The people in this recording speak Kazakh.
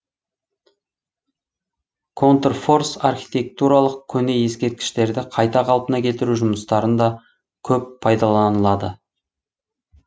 контрфорс архитектуралық көне ескерткіштерді қайта қалпына келтіру жұмыстарында көп пайдаланылады